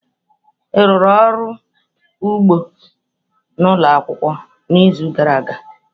Ị rụrụ ọrụ n'ugbo ụlọ akwụkwọ n'izu gara aga?